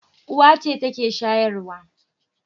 Uwa ce take shayarwa.